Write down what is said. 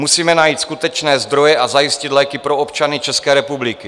Musíme najít skutečné zdroje a zajistit léky pro občany České republiky.